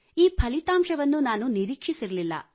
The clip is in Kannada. ಈ ಫಲಿತಾಂಶವನ್ನು ನಾನು ನಿರೀಕ್ಷಿಸಿರಲಿಲ್ಲ